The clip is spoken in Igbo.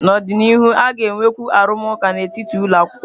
N'ọdịnihu, a ga-enwekwu arụmụka n'etiti ụlọ akwụkwọ.